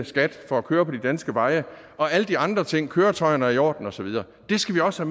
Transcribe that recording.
skat for at køre på de danske veje og alle de andre ting køretøjerne er i orden og så videre det skal vi også